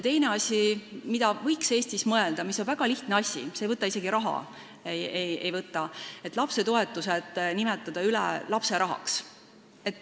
Teine asi, millele Eestis võiks mõelda ja mis on väga lihtne, ei võta isegi raha, on see, et lapsetoetused võiks nimetada lapserahaks.